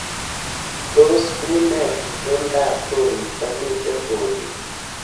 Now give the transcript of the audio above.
Tos une itondab koristo miten bolik